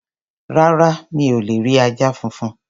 Rárá, mi ò lè rí ajá funfun.